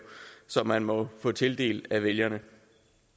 som man måtte få tildelt af vælgerne